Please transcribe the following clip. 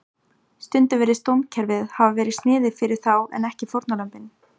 Stundum virðist dómskerfið hafa verið sniðið fyrir þá en ekki fórnarlömbin.